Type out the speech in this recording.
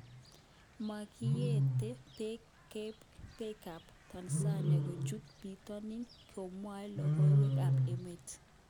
Makiyeten peek kab Tanzania kochut bitonin, komwoe lokowek kap emet